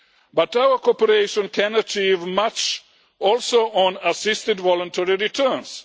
But our cooperation can achieve much also on assisted voluntary returns